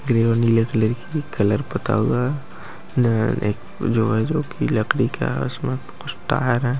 grey और नीले colour कि कलर पूता हुआ है यह है जो जोकि लकड़ी का आसमान में